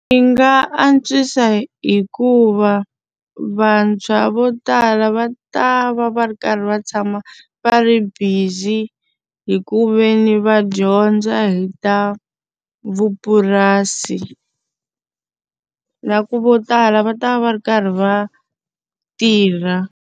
Yi nga antswisa hikuva vantshwa vo tala va ta va va ri karhi va tshama va ri busy hi ku ve ni va dyondza hi ta vupurasi. Na ku vo tala va ta va va ri karhi va tirha.